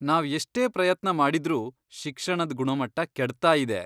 ನಾವ್ ಎಷ್ಟೇ ಪ್ರಯತ್ನ ಮಾಡಿದ್ರೂ ಶಿಕ್ಷಣದ್ ಗುಣಮಟ್ಟ ಕೆಡ್ತಾಯಿದೆ.